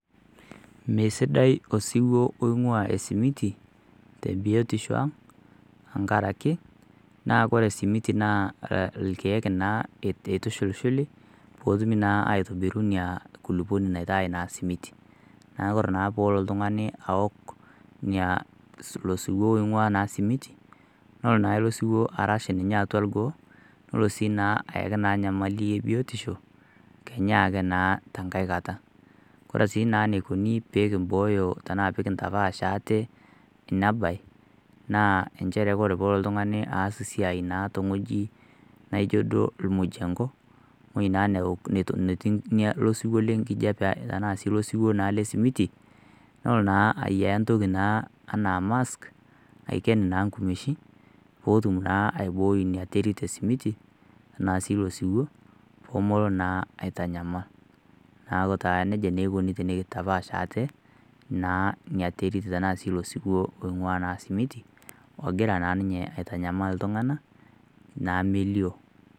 Meisidai osiwuo oing'uaa esimiti tenkaraki naa kore esimiti naa ilkiek naa eitushuli peetumi naaa atobiru ina kulupuoni naitai naa simiti neeku ore peelo oltung'ani aaok ilo siiwuo oing'aa naa simiti naa nelo naa ilo siwuo arash ninye orgoo leno sii naa ayaki enyamali ebiotisho kenyaa naa tenkai kata kore sii eneikoni peekimbooyo ashuu peekintapaash ate ina baye naa inchere ore peelo oltung'ani aas esiai tewueji naaijio duo ormujengo ewui naa netii ilo siiwuo lenkijiape tenaa sii siwuo lesimiti nelo naa ayiaya entoki naaa enaa mask aiken naa inkumeshin pootum naa iabooi ina terit esimiti nalotu tosiwuo poomelo naa aitanyamal neeku taa nejia eikoni tenikintapaash ate ina terit naing'ua ilo simiti nagira naa ninye aitanyamal iltung'anak melio.